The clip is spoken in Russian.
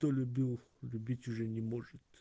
кто любил любить уже не может